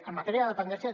en matèria de dependència